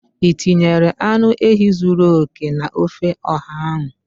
Ị tinyere anụ ehi zuru oke na ofe oha ahụ?